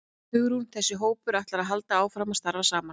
Hugrún: Þessi hópur, ætlar hann að halda áfram að starfa saman?